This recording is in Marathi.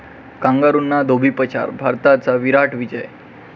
कांगारूंना धोबीपछाड, भारताचा 'विराट' विजय